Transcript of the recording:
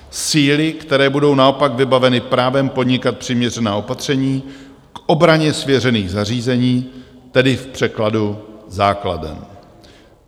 Síly, které budou naopak vybaveny právem podnikat přiměřená opatření k obraně svěřených zařízení, tedy v překladu základen.